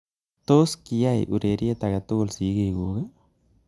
Tos kiaiy ureriet ake tugul sigikuk